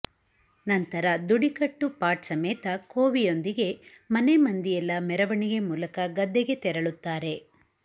ನಂತರ ದುಡಿಕಟ್ಟು ಪಾಟ್ ಸಮೇತ ಕೋವಿಯೊಂದಿಗೆ ಮನೆ ಮಂದಿಯೆಲ್ಲ ಮೆರವಣಿಗೆ ಮೂಲಕ ಗದ್ದೆಗೆ ತೆರಳುತ್ತಾರೆ